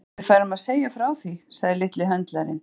Að við færum að segja frá því, sagði litli höndlarinn.